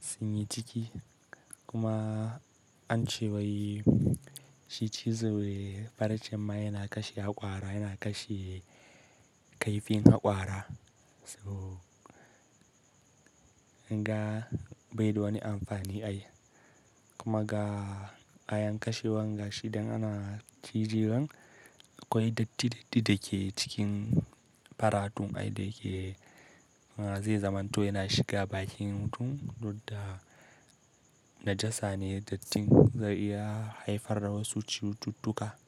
sun yi ciki. Kuma ance wai shi cizo farcen ma yana kashe haƙora, yana kashe kaifin haƙora. To, naga bai da wani amfani ai. Kuma ga ayan kashewa gashi idan ana cije wan, akwai datti datti da ke cikin faratun ai da yake zai zamanto yana shiga bakin mutum, dudda najasa ne dattin zai iya haifar da wasu cututtuka.